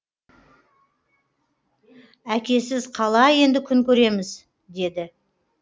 әкесіз қалай енді күн көреміз деді